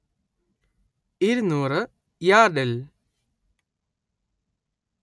ഇരുന്നൂറ്‌ യാർഡിൽ